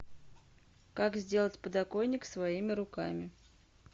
как сделать подоконник своими руками